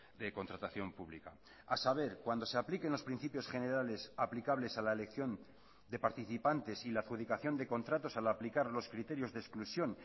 de contratación pública a saber cuando se apliquen los principios generales aplicables a la elección de participantes y la adjudicación de contratos al aplicar los criterios de exclusión